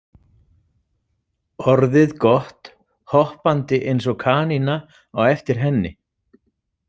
Orðið gott hoppandi eins og kanína á eftir henni.